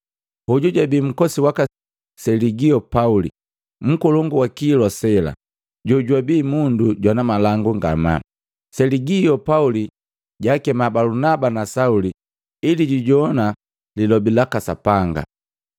Hoju jabi nkosi waka Seligio Pauli, nkolongu wa kilwa sela, jojwabii mundu jwana malangu ngamaa. Seligio Pauli jaakema Balunaba na Sauli ili jujogwana lilobi laka Sapanga.